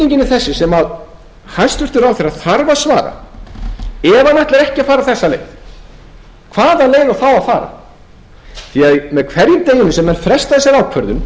þessi sem hæstvirtur ráðherra þarf að svara ef hann ætlar ekki að fara þessa leið hvaða leið á þá að fara með hverjum deginum sem er frestað þessari ákvörðun